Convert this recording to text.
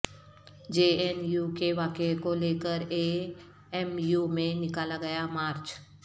جے N U کے واقعہ کو لےکر اے ایم یو میں نکالا گیا مارچ